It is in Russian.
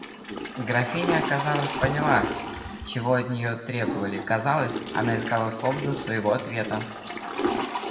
графиня казалось поняла чего от нее требовали казалось она искала слов для своего ответа